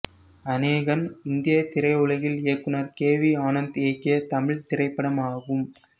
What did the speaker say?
அனேகன் இந்திய திரையுலகில் இயக்குனர் கே வி ஆனந்த் இயக்கிய தமிழ்த் திரைப்படமாகும்